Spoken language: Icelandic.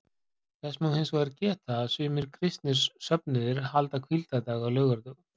Þess má hins vegar geta að sumir kristnir söfnuðir halda hvíldardag á laugardögum.